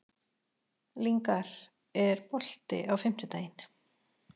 Lyngar, er bolti á fimmtudaginn?